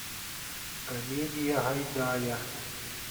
комедия гайдая